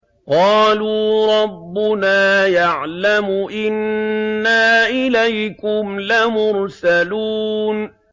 قَالُوا رَبُّنَا يَعْلَمُ إِنَّا إِلَيْكُمْ لَمُرْسَلُونَ